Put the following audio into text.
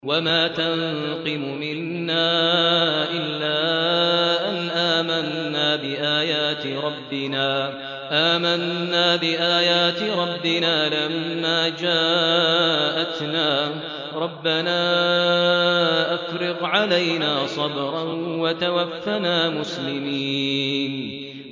وَمَا تَنقِمُ مِنَّا إِلَّا أَنْ آمَنَّا بِآيَاتِ رَبِّنَا لَمَّا جَاءَتْنَا ۚ رَبَّنَا أَفْرِغْ عَلَيْنَا صَبْرًا وَتَوَفَّنَا مُسْلِمِينَ